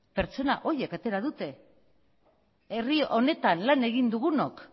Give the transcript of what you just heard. pertsona horiek atera dute herri honetan lan egin dugunok